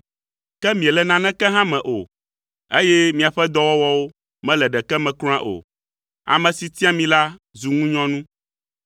Ke miele naneke hã me o, eye miaƒe dɔwɔwɔwo mele ɖeke me kura o. Ame si tia mi la zu ŋunyɔnu.